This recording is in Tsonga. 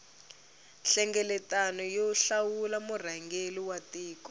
nhlengeletano yo hlawula murhangeri wa tiko